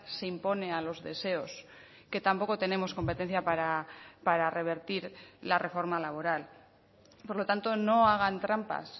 se impone a los deseos que tampoco tenemos competencia para revertir la reforma laboral por lo tanto no hagan trampas